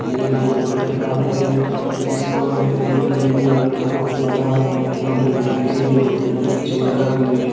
ये एक water park है जिसमें एक ग्रीन कलर का कुछ बना हुआ है खेलने के लिए एक रेड कलर की चेयर रखी हुई है।